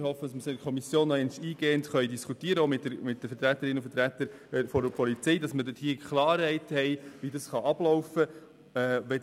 Wir hoffen, dass wir die Artikel in der Kommission nochmals eingehend diskutieren können, auch mit den Vertreterinnen und Vertretern der Polizei, damit wir Klarheit haben, wie es ablaufen kann.